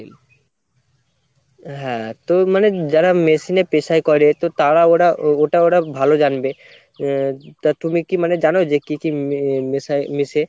হ্যাঁ তো মানে যারা machine এ পেশাই করে তো তারা ওডা ওটা ওটা ভালো জানবে আহ তা তুমি কী মানে জানো যে কি কি মেশায় মেশে?